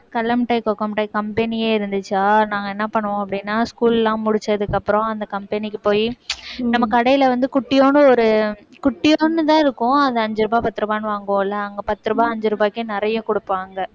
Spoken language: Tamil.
கடலை மிட்டாய், cocoa மிட்டாய் company யே இருந்துச்சா நாங்க என்ன பண்ணுவோம் அப்படின்னா school லாம் முடிச்சதுக்கு அப்புறம் அந்த company க்கு போயி நம்ம கடையில வந்து குட்டியோன்னு ஒரு குட்டியோண்டுதான் இருக்கும் அது அஞ்சு ரூபாய் பத்து ரூபாய்ன்னு வாங்குவோம்ல அங்க பத்து ரூபாய் அஞ்சு ரூபாய்க்கே நிறைய கொடுப்பாங்க